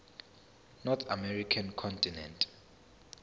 north american continent